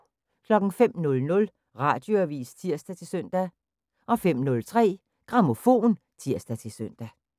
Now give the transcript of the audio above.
05:00: Radioavis (tir-søn) 05:03: Grammofon (tir-søn)